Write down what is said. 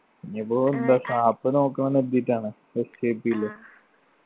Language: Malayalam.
ഇനീപ്പോ നമ്മളെ sap നോക്കണംന്ന് കരുതീട്ടാണ് SAP ഇലല്ലെ